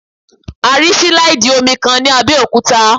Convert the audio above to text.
A rí sílàìdì omi kan ní Abẹ́òkúta